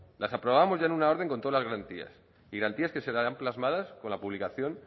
las aprobamos ya en una orden con todas las garantías y garantías que se quedarán plasmadas con la publicación